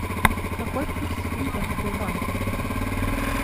какой курс фунта в сбербанке